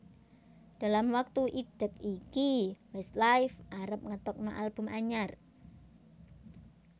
Dalam waktu idek iki Westlife arep ngetokno album anyar